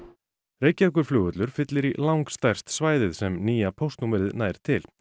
Reykjavíkurflugvöllur fyllir í lang stærst svæðið sem nýja póstnúmerið nær til